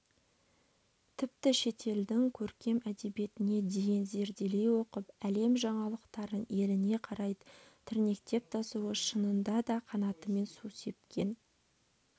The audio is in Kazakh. тіпті шетелдің көркем әдебиетіне дейін зерделей оқып әлем жаңалықтарын еліне қарай тірнектеп тасуы шынында да қанатымен су сепкен